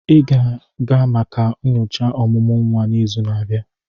Ị ga-aga maka nyocha ọmụmụ nwa n'izu na-abịa!